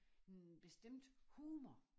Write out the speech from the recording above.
En bestemt humor